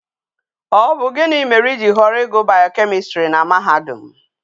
O bu gini mere i ji horo igu biochemistry na mahadum?